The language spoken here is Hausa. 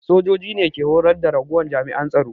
Sojoji ne ke horar da ragowar jami'an tsaro